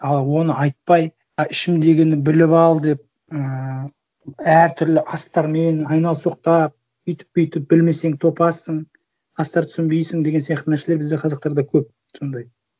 ал оны айтпай ы ішімдегіні біліп ал деп ііі әр түрлі астармен айналсоқтап өйтіп бүйтіп білмесен топассың астарды түсінбейсің деген сияқты нәрселер бізде қазақтарда көп сондай